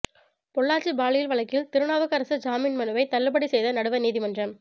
பொள்ளாச்சி பாலியல் வழக்கில் திருநாவுக்கரசு ஜாமின் மனுவை தள்ளுபடி செய்த நடுவர் நீதிமன்றம்